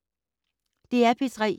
DR P3